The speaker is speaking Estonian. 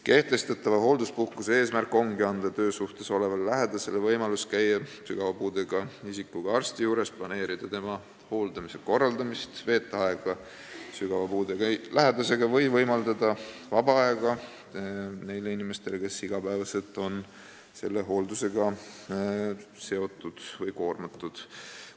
Kehtestatava hoolduspuhkuse eesmärk ongi anda töösuhtes olevale lähedasele võimalus käia sügava puudega isikuga arsti juures, planeerida tema hooldamise korraldamist, veeta aega sügava puudega lähedasega või võimaldada vaba aega neile inimestele, kes iga päev on selle hooldusega koormatud.